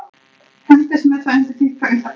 Hendist með það undir þykka ullarkápu.